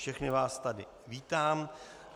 Všechny vás tady vítám.